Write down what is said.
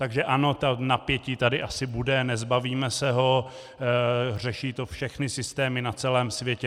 Takže ano, to napětí tady asi bude, nezbavíme se ho, řeší to všechny systémy na celém světě.